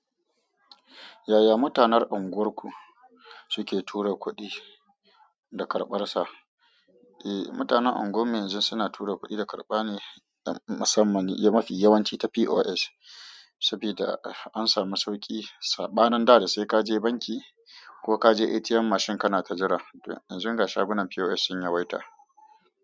Yaya mutanen unguwarku suke tura kuɗi da karɓarsa? Mutanen unguwar mu yanzu suna tura kuɗi da kaɓa ne musamman ta pos saboda an samu sauki saɓanin da da sai ka je banki ko ka je ATM mashin kana ta jiran. Yanzu ga shagunan POS sun yawaita.